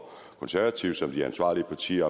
konservative som de ansvarlige partier